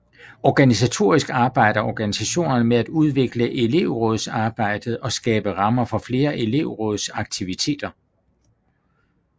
Organisatorisk arbejder organisationerne med at udvikle elevrådsarbejdet og skabe rammer for flere elevrådsaktiviteter